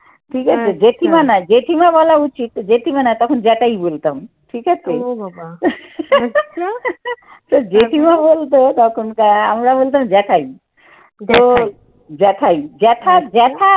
ঠিকআছে, জেঠিমা না জেঠিমা বলা উচিত জেঠিমা না তখন জেঠাই বলতাম ঠিক আছে তো জেঠিমা বলতো তখন আমরা বলতাম জ্যাঠাই। তো জ্যাঠাই জ্যাঠা~ জ্যাঠা